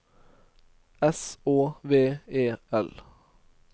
S Å V E L